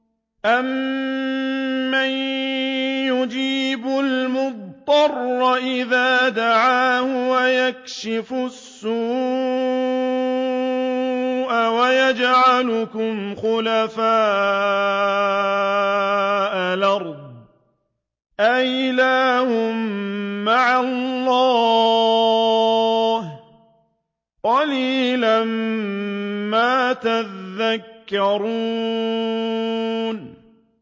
أَمَّن يُجِيبُ الْمُضْطَرَّ إِذَا دَعَاهُ وَيَكْشِفُ السُّوءَ وَيَجْعَلُكُمْ خُلَفَاءَ الْأَرْضِ ۗ أَإِلَٰهٌ مَّعَ اللَّهِ ۚ قَلِيلًا مَّا تَذَكَّرُونَ